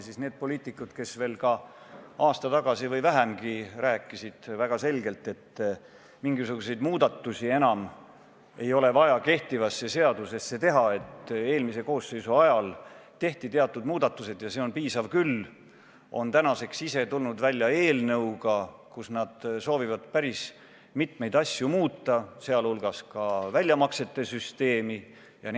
Need poliitikud, kes veel aasta või vähemgi tagasi rääkisid väga selgelt, et mingisuguseid muudatusi kehtivasse seadusesse ei ole enam vaja teha – eelmise koosseisu ajal tehti teatud muudatused ja nendest piisab küll –, on täna ise tulnud välja eelnõuga, milles nad soovivad muuta päris mitmeid asju, sh väljamaksete süsteemi.